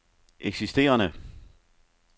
eksisterende